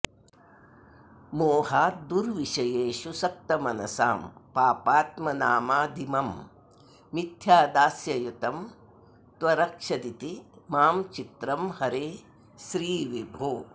मोहाद्दुर्विषयेषु सक्तमनसां पापात्मनामादिमं मिथ्यादास्ययुतं त्वरक्षदिति मां चित्रं हरे श्रीविभो